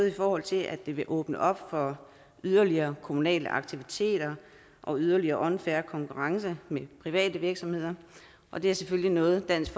i forhold til at det vil åbne op for yderligere kommunale aktiviteter og yderligere unfair konkurrence med private virksomheder og det er selvfølgelig noget dansk